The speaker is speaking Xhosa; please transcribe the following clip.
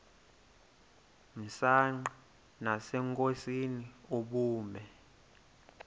msanqa nasenkosini ubume